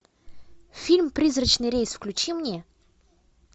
фильм призрачный рейс включи мне